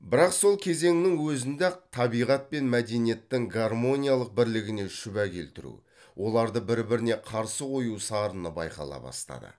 бірақ сол кезеңнің өзінде ақ табиғат пен мәдениеттің гармониялық бірлігіне шүбә келтіру оларды бірбіріне қарсы қою сарыны байқала бастады